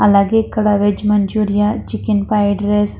అలగే ఇక్కడ veg manchurian chicken fried rice --